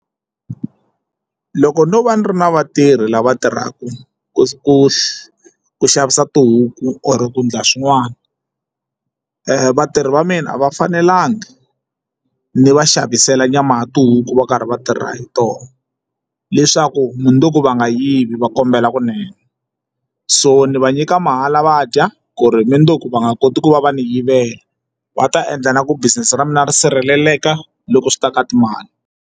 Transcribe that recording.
Loko no va ni ri na vatirhi lava tirhaka ku xavisa tihuku or ku ndla swin'wana vatirhi va mina a va fanelangi ni va xavisela nyama ya tihuku vo karhi va tirha hi tona leswaku mundzuku va nga yivi va kombela kunene so ni va nyika mahala va dya ku ri mundzuku va nga koti ku va va ni yivela va ta endla na ku business ra mina ri sirheleleka loko swi ta ka timali.